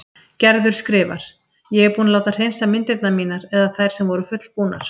Gerður skrifar: Ég er búin að láta hreinsa myndirnar mínar eða þær sem voru fullbúnar.